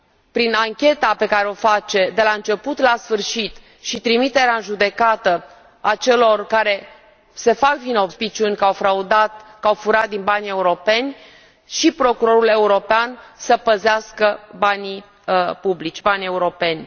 Prin ancheta pe care o face de la început la sfârșit și trimiterea în judecată a celor care se fac vinovați sau există suspiciuni că au furat din banii europeni Procurorul European poate să păzească banii publici, banii europeni.